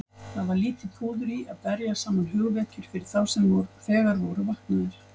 Það var lítið púður í að berja saman hugvekjur fyrir þá sem þegar voru vaknaðir.